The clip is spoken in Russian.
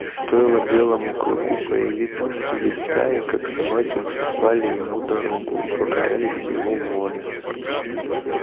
стоило белому клыку появиться среди стаи как собаки уступали ему дорогу и покорялись его воле